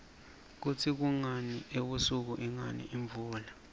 kutsi kungani ebusika ingani imvula